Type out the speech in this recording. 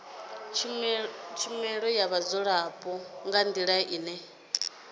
shumela vhadzulapo nga ndila ine